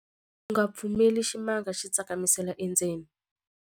U nga pfumeleli ximanga xi tsakamisela endzeni.